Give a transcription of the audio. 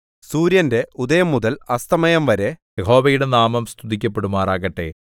സൂര്യന്റെ ഉദയംമുതൽ അസ്തമയംവരെ യഹോവയുടെ നാമം സ്തുതിക്കപ്പെടുമാറാകട്ടെ